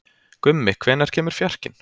Gummi, hvenær kemur fjarkinn?